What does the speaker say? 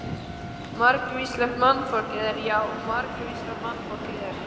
Margvíslegt mannfólkið er, já margvíslegt mannfólkið er.